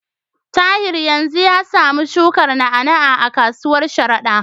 Tahir yanzu ya samu shukar na'a-na'a a kasuwar Sharada.